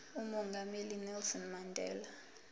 umongameli unelson mandela